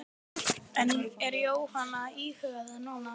En er Jóhanna að íhuga það núna?